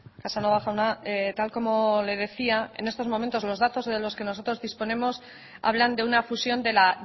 casanova jauna tal como le decía en estos momentos los datos de los que nosotros disponemos hablan de una fusión de la